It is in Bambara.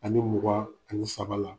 Ani mugan ani saba la.